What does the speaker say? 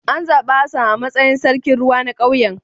An zabi Hassan a matsayin sarkin ruwa na kauyen